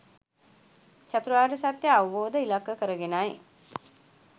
චතුරාර්ය සත්‍යය අවබෝධය ඉලක්ක කරගෙනයි